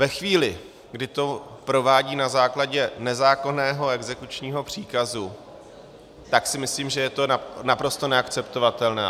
Ve chvíli, kdy to provádí na základě nezákonného exekučního příkazu, tak si myslím, že je to naprosto neakceptovatelné.